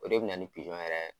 O de be na ni yɛrɛ